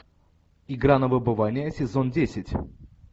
игра на выбывание сезон десять